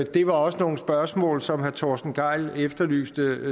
det var også nogle spørgsmål som herre torsten gejl efterlyste